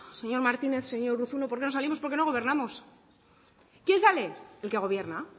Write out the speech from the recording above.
señor martínez señor urruzuno por qué no salimos porque no gobernamos quién sale el que gobierna